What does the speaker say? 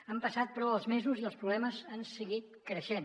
han passat però els mesos i els problemes han seguit creixent